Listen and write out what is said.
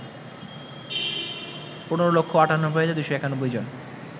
১৫,৯৮,২৯১ জন